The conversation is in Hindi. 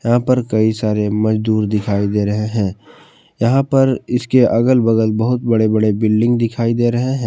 यहां पर कई सारे मजदूर दिखाई दे रहे हैं यहां पर इसके अगल बगल बहुत बड़े बड़े बिल्डिंग दिखाई दे रहे है।